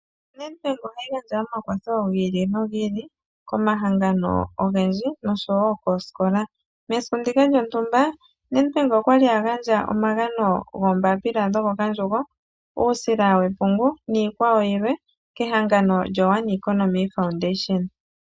ONedbank ohayi gandja omakwatho gi ili nogi ili, komahangano ogendji nosho wo koosikola. Mesiku ndika lyontumba, Nedbank okwali a gandja omagano goombapila dhokokandjugo, uusila wepungu niikwawo yilwe, kehangano lyoOne Economy Foundation.